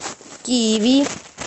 киви